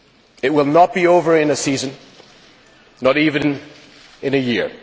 It will not be over in a season, not even in a year.